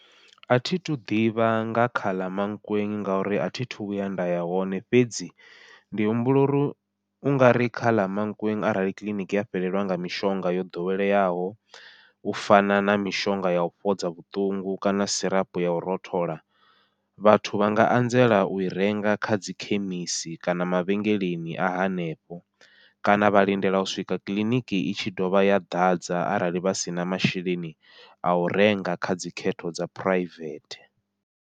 Athithu ḓivha nga kha ḽa Mankweng ngori athi thu vhuya nda ya hoṋe, fhedzi ndi humbula uri ungari kha ḽa Mankweng arali kiḽiniki ya fhelelwa nga mishonga yo ḓoweleyaho u fana na mishonga yau fhodza vhuṱungu kana sirapu yau rothola vhathu vha nga anzela ui renga kha dzi khemisi kana mavhengeleni a hanefho, kana vha lindela u swika kiḽiniki i tshi dovha ya ḓadza arali vha sina masheleni au renga kha dzikhetho dza phuraivethe.